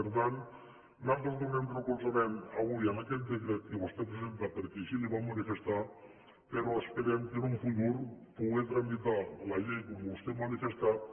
per tant nosaltres donem recolzament avui a aquest decret que vostè presenta perquè així li ho vam manifestar però esperem en un futur poder tramitar la llei com vostè ha manifestat